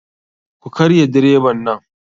Ku karya direban nan.